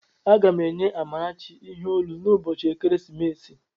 Aga m enye Amarachi ihe olu n'ụbọchị ekeresimesi